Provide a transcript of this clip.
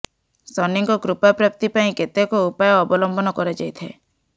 ଶନିଙ୍କ କୃପା ପ୍ରାପ୍ତି ପାଇଁ କେତେକ ଉପାୟ ଅବଲମ୍ବନ କରାଯାଇଥାଏ